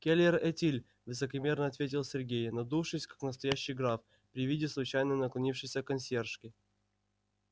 келер этиль высокомерно ответил сергей надувшись как настоящий граф при виде случайно наклонившейся консьержки